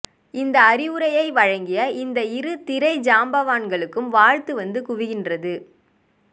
இந்த அறிவுரை வழங்கிய இந்த இரு திரை ஜாம்பவான்களுக்கு வாழ்த்து வந்து குவிகின்றது